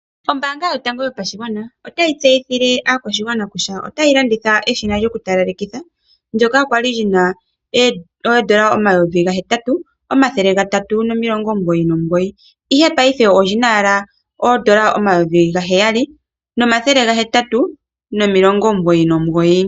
Ombaanga yotango yopashigwana otayi tseyithile aakwashigwana kutya okila yoku talaleka ndyoka kwali lina N$8399 ,olya tulwa ko fanditha ndele paife olina N$7899.